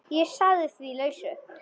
Ég sagði því lausu.